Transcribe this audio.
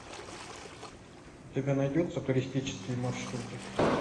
у тебя найдется туристические маршруты